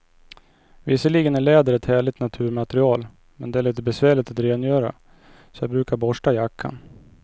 Visserligen är läder ett härligt naturmaterial, men det är lite besvärligt att rengöra, så jag brukar borsta jackan.